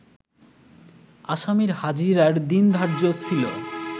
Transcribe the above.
আসামির হাজিরার দিন ধার্য ছিল